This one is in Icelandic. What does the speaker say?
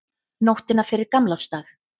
Nóttina fyrir gamlársdag.